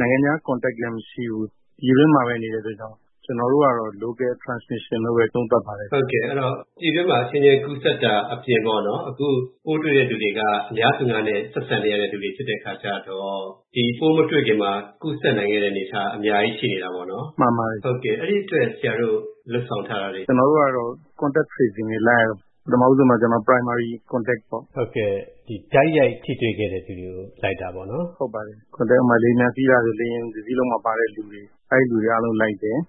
နိုင်ငံခြားနဲ့ အဆက်အစပ်လည်း မရှိဘူး၊ ပြည်တွင်းမှာပဲ နေတဲ့အတွက်ကြောင့် ကျနော်တို့ကတော့ Local Transmission လို့ပဲ သုံးသပ်ပါတယ်။” အဲတော့ ပြည်တွင်းမှာ အချင်းချင်းကူးစက်တာအပြင် အခု ပိုးတွေ့တဲ့သူတွေက အများသူငါနဲ့ ဆက်ဆံနေရတဲ့သူတွေ ဖြစ်တဲ့အခါကြတော့ ဒီ ပိုးမတွေ့ခင်မှာ ကူးစက်နိုင်ခဲ့တဲ့ အနေအထား အများကြီးရှိနေတာပေါ့။ အဲဒီအတွက် ဆရာတို့ လုပ်ဆောင်ထားတာတွေ ရှင်းပြပေးပါလား။ “ကျနော်တို့ကတော့ လူနာနဲ့ တိုက်ရိုက် ထိတွေ့ခဲ့သူတွေကို လိုက်ရတော့မယ်။ ကျနော်တို့ဆီမှာ တိုက်ရိုက်ထိတွေ့ခဲ့သူတွေပေါ့၊ ဥပမာ လေယာဉ်ပျံ စီးလာတယ်ဆို လေယာဉ်တစီးလုံးမှာ ပါတဲ့သူတွေ၊ အဲဒီလူတွေ အားလုံး လိုက်တယ်၊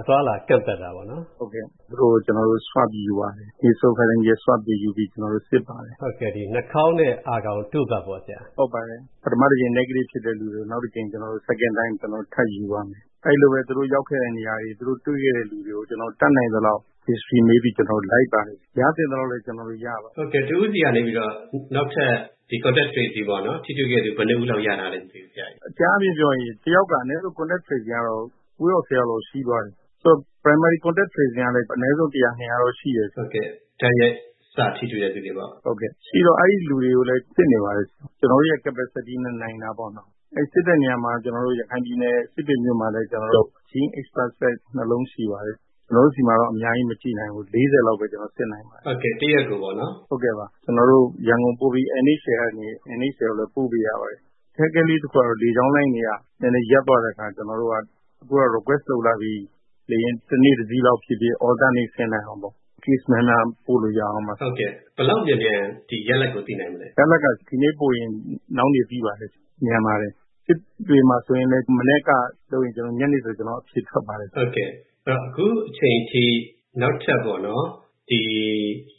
အသွားအလာ ကန့်သတ် စောင့်ကြည့်တယ်။ သူတို့ကို နှာခေါင်းနဲ့ အာခေါင်တို့ဖတ်ယူပြီး စစ်ပါတယ်။ ပထမတကြိမ် Negative ဖြစ်တဲ့သူတွေကို နောက် ဒုတိယအကြိမ် ထပ်ယူပါမယ်။ အဲဒီလိုပဲ သူတို့ ရောက်ခဲ့တဲ့ နေရာတွေ၊ တွေ့ခဲ့တဲ့လူတွေကို ကျနော်တို့ တတ်နိုင်သလောက် မေးပြီး လိုက်ပါတယ်။ ရသင့်သလောက်လည်း ကျနော်တို့ ရပါတယ်။” တဦးဆီကနေ နောက်ထပ် ထိတွေ့ခဲ့သူ ဘယ်နှစ်ဦးလောက် ရထားလဲခင်ဗျ။ “အကြမ်းအားဖြင့် ပြောရရင် တယောက်က အနည်းဆုံး ထိတွေ့ခဲ့သူ ကိုးယောက် ဆယ်ယောက်လောက်အထိ ရှိသွားတယ်။ တိုက်ရိုက် စထိတွေ့ခဲ့သူကလည်း အနည်းဆုံး တရာ နှစ်ရာတော့ ရှိတယ်ဆိုတော့ အဲဒီလူတွေကိုလည်း စစ်နေပါတယ်။ ကျနော်တို့ လုပ်နိုင်တဲ့ပမာဏနဲ့ နိုင်တာပေါ့နော။ အဲဒီ စစ်တဲ့နေရာမှာ ရခိုင်ပြည်နယ် စစ်တွေမြို့မှာလည်း စစ်တဲ့စက် နှစ်လုံးရှိပါတယ်။ ကျနော်တို့ဆီမှာတော့ အများကြီး မကြည့်နိုင်ဘူး။ တရက်ကို ၄၀ လောက်ပဲ ကျနော်တို့ စစ်နိုင်ပါတယ်။ ကျနော်တို့ ရန်ကုန် NHL ကိုလည်း ပို့ပေးရပါတယ်။ အခက်အခဲလေးတခုကတော့ လေကြောင်းလိုင်းတွေ ရပ်သွားတဲ့အခါ ကျနော်တို့က အခု Request လုပ်ပြီး လေယာဉ် တနေ့တစီးလောက် ဖြစ်ဖြစ် အလှည့်ကျ ဆင်းနိုင်အောင်ပေါ့၊ Case များများပို့လို့ရအောင်ပါ။” ဘယ်လောက်မြန်မြန် ဒီရလဒ်ကို သိနိုင်မလဲ။ “ရလဒ်က ဒီနေ့ပို့ရင် နောက်နေ့သိပါတယ်၊ မြန်ပါတယ်။ စစ်တွေမှာဆိုရင်လည်း မနက်ကလုပ်ရင် ညနေဆို အဖြေထွက်ပါတယ်။” အခုအချိန်ထိ နောက်ထပ်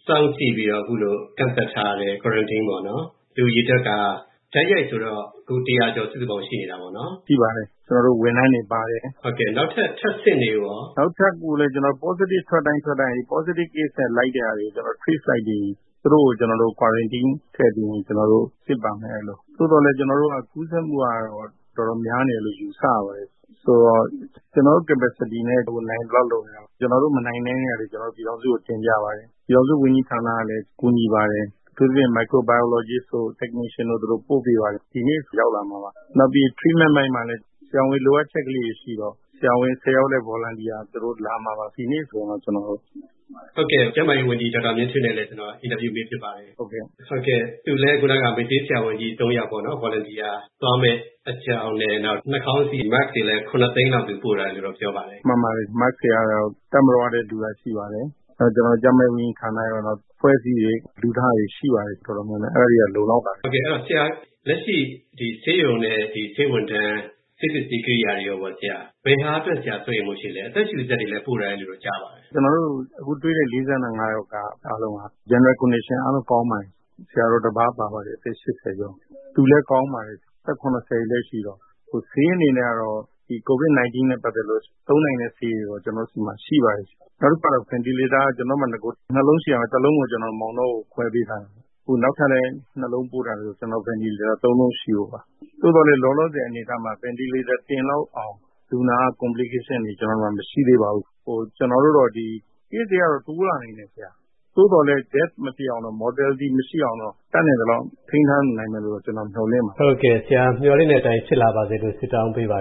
စောင့်ကြည့်ပြီး ကန့်သတ်ထားတဲ့ လူအရေအတွက်က တိုက်ရိုက်ဆိုတော့ စုစုပေါင်း လူတရာကျော် ရှိနေတာပေါ့နော်။ “ရှိပါတယ်၊ ကျနော်တို့ ဝန်ထမ်းတွေပါတယ်။” နောက်ထပ် ထပ်စစ်နေတာရော။ “နောက်ထပ်လည်း Positive ထွက်တိုင်း ထွက်တိုင်း Positive Case နဲ့ ထိစပ်ခဲ့သူတွေကိုလိုက်ပြီး သူတို့ကို Quarantine ထည့်ပြီး စစ်ပါမယ်။ သို့သော်လည်း ကူးစက်မှုက တော်တော်များနေတယ်လို့ ယူဆရပါတယ်။ ဆိုတော့ ကျနော်တို့ လုပ်နိုင်တဲ့ပမာဏနဲ့ နိုင်သလောက် လုပ်နေတာပေါ့။ ကျနော်တို့ မနိုင်တဲ့ဟာတွေ ပြည်ထောင်စုကို တင်ပြပါတယ်။ ပြည်ထောင်စုဝန်ကြီးဌာနကလည်း ကူညီပါတယ်။ အထူးသဖြင့် Microbiologist တို့ Technician တို့ ပို့ပေးပါတယ်။ ဒီနေ့ဆို ရောက်လာမှာပါ။ နောက်ပြီး ကုသရေး အပိုင်းမှာလည်း ဆရာဝန် လိုအပ်ချက်လေးတွေရှိတော့ ဆရာဝန် ၁၀ ယောက်လည်း Volunteer အနေနဲ့ လာမှာပါ။” ဟုတ်ကဲ့၊ ကျန်းမာရေးဝန်ကြီး ဒေါက်တာမြင့်ထွေးနဲ့လည်း ကျနော် မေးဖြစ်ပါတယ်။ သူလည်း မေ့ဆေးဆရာဝန်ကြီး ၃ ယောက် Volunteer သွားမယ့် အကြောင်းနဲ့ နောက် နှာခေါင်းစည်းတွေလည်း ၇ သိန်းလောက် သူပို့ထားတယ်လို့ ပြောပါတယ်။ “မှန်ပါတယ်၊ Mask တွေကတော့ တပ်မတော်က လှူတာလည်း ရှိပါတယ်။ နောက် ကျန်းမာရေးဝန်ကြီးဌာနကတော့ အဖွဲ့အစည်းတွေ လှူထားတာတွေ ရှိပါတယ် တော်တော်များများ။ အဲဒါတွေက လုံလောက်ပါတယ်။” အဲတော့ လက်ရှိ ဆေးရုံနဲ့ ဆေးဝန်ထမ်း၊ ဆေးပစ္စည်းကိရိယာတွေ ဘယ်ဟာအတွက် ဆရာ စိုးရိမ်မှု ရှိပါသလဲ။ အသက်ရှူစက်တွေလည်း ပို့ထားတယ်လို့ ကြားပါတယ်။ “ကျနော်တို့ အခုတွေ့တဲ့ ၄၅ ယောက်က General Condition အားလုံးကောင်းပါတယ်။ ဆရာတော်တပါး ပါပါတယ် အသက် ၈၀ ကျော်။ သူလည်း ကောင်းပါတယ်။ အသက် ၇၀ တွေလည်း ရှိတော့။ ဆေးအနေနဲ့ကတော့ COVID-19 နဲ့ ပတ်သက်လို့ သုံးနိုင်တဲ့ဆေးတွေတော့ ကျနော်တို့ဆီမှာ ရှိပါတယ်။ နောက်တခုက အသက်ရှူစက်က အရင် နှစ်လုံးရှိရာက တလုံးကို မောင်တောကို ခွဲပေးထားပါတယ်။ အခု နောက်ထပ်လည်း နှစ်လုံး ပို့ပေးထားတော့ အသက်ရှူစက် သုံးလုံးရှိပါတယ်။ သို့သော်လည်း လောလောဆယ် အနေအထားမှာ အသက်ရှူစက် တင်လောက်တဲ့လူနာ မရှိသေးပါဘူး။ Case တွေကတော့ တိုးလာနိုင်တယ်။ သို့သော်လည်း အသက်သေဆုံးမှု မရှိအောင်တော့ တတ်နိုင်သလောက် ထိန်းထားနိုင်မယ်လို့ ကျနော် မျှော်လင့်ပါတယ်။” ဟုတ်ကဲ့ ဆရာမျှော်လင့်တဲ့အတိုင်း ဖြစ်လာပါစေလို့ ဆုတောင်းပေးပါ